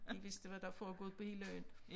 De vidste hvad der foregået på hele øen